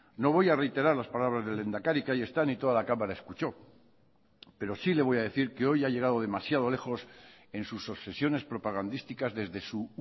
no voy a reiterar las palabras del lehendakari que ahí están y toda la cámara escuchó pero sí le voy a decir que hoy ha llegado demasiado lejos en sus obsesiones propagandísticas desde su